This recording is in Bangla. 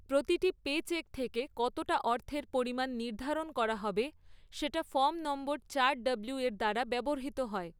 প্রতিটি পেচেক থেকে কতটা অর্থের পরিমাণ নির্ধারণ করা হবে সেটা ফর্ম নং চার ডব্লিউয়ের দ্বারা ব্যবহৃত হয়।